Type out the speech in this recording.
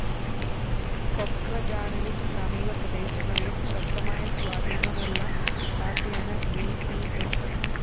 കൊക്രജാറിലും സമീപപ്രദേശങ്ങളിലും ശക്തമായ സ്വാധീനമുള്ള പാര്‍ട്ടിയാണ് ബി പി ഫ്‌